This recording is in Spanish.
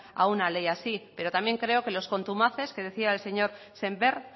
a una ley así pero también creo que los contumaces que decía el señor sémper